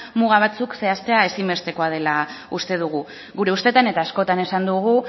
muga batzuk zehaztea ezinbestekoa dela uste dugu gure ustetan eta askotan esan dugu